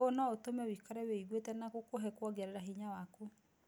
ũũ no ũtũme wĩikare wĩyigwĩte na gũkũhe kwongerera hinya waku.